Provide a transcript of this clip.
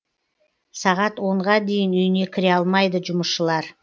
сағат онға дейін үйіне кіре алмайды жұмысшылар